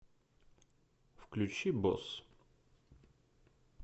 включи босс